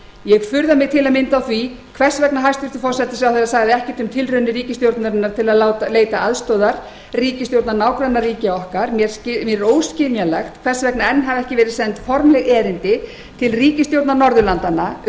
ég furða mig til að mynda á því hvers vegna hæstvirtur forsætisráðherra sagði ekkert um tilraunir ríkisstjórnarinnar til að leita aðstoðar ríkisstjórna nágrannaríkja okkar mér er óskiljanlegt hvers vegna enn hafa ekki verið send formleg erindi til ríkisstjórna norðurlandanna